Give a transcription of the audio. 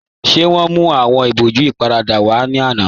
Ṣé wọn mú awọn ibòjú íparádà wa ni ọ̀lá?